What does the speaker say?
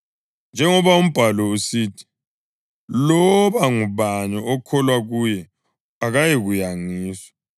Njengoba uMbhalo usithi, “Loba ngubani okholwa kuye akayikuyangiswa.” + 10.11 U-Isaya 28.16